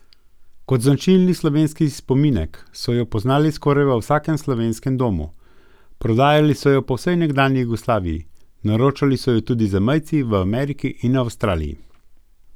Najbolj drsijo navzdol delnice Telekoma Slovenije, Krke, Gorenja in Petrola.